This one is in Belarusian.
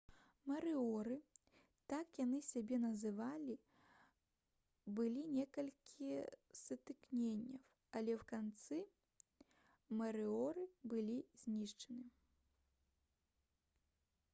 «марыоры» — так яны сябе называлі было некалькі сутыкненняў але ў канцы марыоры былі знішчаны